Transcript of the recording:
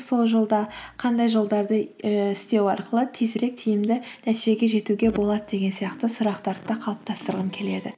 сол жолда қандай жолдарды ііі істеу арқылы тезірек тиімді нәтижеге жетуге болады деген сияқты сұрақтарды да қалыптастырғым келеді